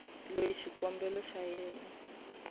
loyi xikombelo xa yena xa